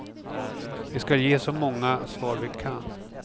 Vi skall ge så många svar vi kan.